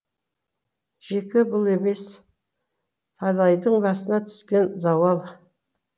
жеке бұл емес талайдың басына түскен зауал